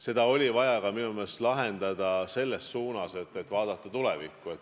See oli vaja minu meelest lahendada tulevikku vaatavas suunas.